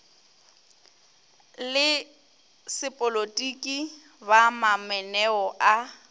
le sepolotiki ba mamaneo a